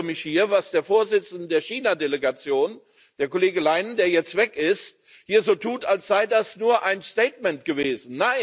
Und ich wundere mich, dass der Vorsitzende der China Delegation, der Kollege Leinen, der jetzt weg ist, hier so tut, als sei das nur ein Statement gewesen.